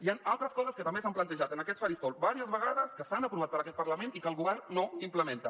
hi han altres coses que també s’han plantejat en aquest faristol diverses vegades que s’han aprovat per aquest parlament i que el govern no implementa